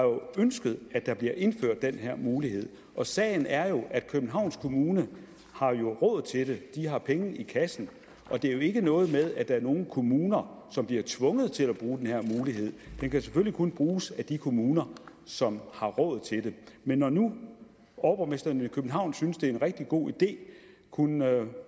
ønsket at der bliver indført den her mulighed sagen er jo at københavns kommune har råd til det de har penge i kassen og det er jo ikke noget med at der er nogle kommuner som bliver tvunget til at bruge denne mulighed den kan selvfølgelig kun bruges af de kommuner som har råd til det men når nu overborgmesteren i københavn synes at det er en rigtig god idé kunne